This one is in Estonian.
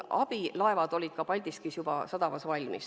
Abilaevad olid Paldiski sadamas valmis.